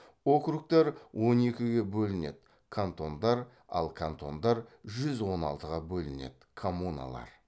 округтар он екіге бөлінеді кантондар ал кантондар жүз он алтыға бөлінеді коммуналар